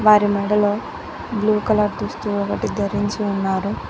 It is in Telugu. వారి మెడలో బ్లూ కలర్ దుస్తు ఒకటి ధరించి ఉన్నారు.